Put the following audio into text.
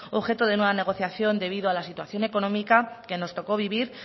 objeto de nueva negociación debido a la situación económica que nos tocó vivir